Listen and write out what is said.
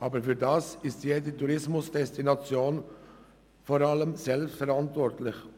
Dafür ist jede Tourismusdestination in erster Linie selber verantwortlich.